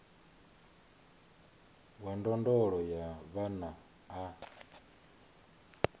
wa ndondolo ya vhana a